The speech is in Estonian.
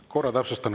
Ma korra täpsustan.